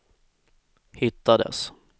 hittades